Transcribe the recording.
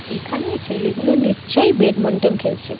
এখানে ছেলে গুলো নিশ্চই ব্যাটমিন্টন খেলছে ।